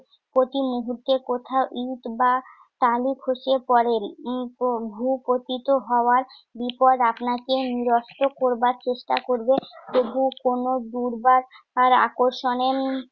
প্রতিমূহুর্তে কোথাও ইট বা টালি খসে পড়ে। উম ভূপতিত হওয়ার বিপদ আপনাকে নিরস্ত করবার চেষ্টা করবে। তবুও কোন দুর্বার আর আকর্ষণে উম